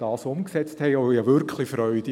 Das bereitet mir Freude.